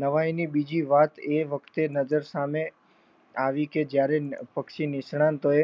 નવાઈની બીજી વાત એ વખતે નજર સામે આવી કે જયારે પક્ષી નિષ્ણાતોએ